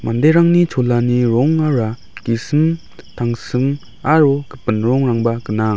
inderangni cholani rongara gisim tangsim aro gipin rongrangba gnang.